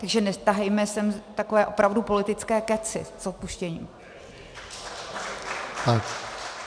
Takže netahejme sem takové opravdu politické kecy, s odpuštěním.